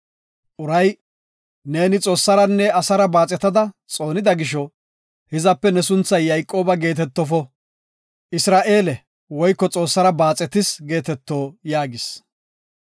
Uray, “Neeni Xoossaranne asara baaxetada xoonida gisho, hizape ne sunthay Yayqooba geetetofo, Isra7eele (Xoossara baaxetis) geeteto” yaagis.